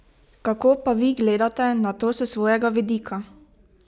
Kako pa vi gledate na to s svojega vidika?